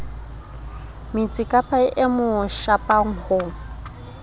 metsikapa e mo shapang ho